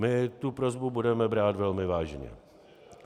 My tu prosbu budeme brát velmi vážně.